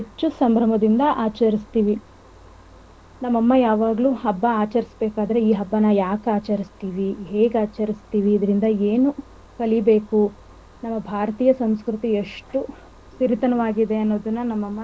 ಆಚರಿಸ್ತಿವಿ ನಮ್ಮ ಅಮ್ಮ ಯಾವಾಗಲೂ ಹಬ್ಬ ಆಚರಿಸಬೇಕಾದರೆ ಈ ಹಬ್ಬನ ಯಾಕ್ ಆಚರಿಸ್ತಿವಿ ಹೇಗ್ ಆಚರಿಸ್ತಿವಿ ಇದರಿಂದ ಏನು ಕಲಿಬೇಕು ನಮ್ಮ ಭಾರತೀಯ ಸಂಸ್ಕೃತಿ ಎಷ್ಟು ಸಿರಿತನವಾಗಿದೆ ಅನ್ನೋದನ್ನ ನಮ್ಮಮ್ಮ ನಮಗೆ ಯಾವಾಗಲೂ ಹಬ್ಬ ಮಾಡಬೇಕಾದರೆ.